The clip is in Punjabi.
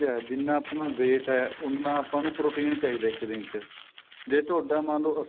ਜਿੰਨਾ ਆਪਣਾ weight ਏ ਉਨਾ ਆਪਾਂ ਨੂੰ protein ਚਾਹੀਦਾ ਇੱਕ ਦਿਨ ਚ ਜੇ ਤੁਹਾਡਾ ਮੰਨਲੋ